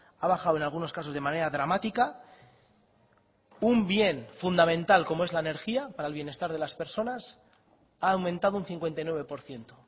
ha bajado en algunos casos de manera dramática un bien fundamental como es la energía para el bienestar de las personas ha aumentado un cincuenta y nueve por ciento